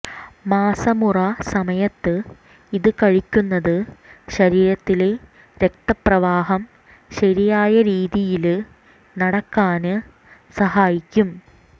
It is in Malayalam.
മാസമുറ സമയത്ത് ഇത് കഴിയ്ക്കുന്നത് ശരീരത്തിലെ രക്തപ്രവാഹം ശരിയായ രീതിയില് നടക്കാന് സഹായിക്കും